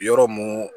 Yɔrɔ mun